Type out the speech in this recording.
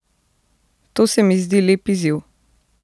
To se mi zdi lep izziv.